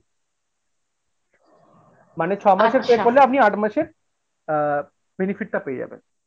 মানে ছ'মাসের আপনি আট মাসের আ benefit টা পেয়ে যাবেন।